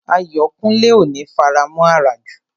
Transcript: Ayọ̀kúnlé ò ní faramọ̀ àràjù